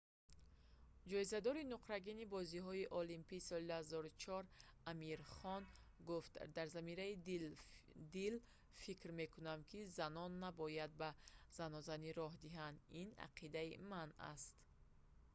ҷоизадори нуқрагини бозиҳои олимпии соли 2004 амир хон гуфт дар замири дил фикр мекунам ки занон набояд ба занозанӣ роҳ диҳанд ин ақидаи ман аст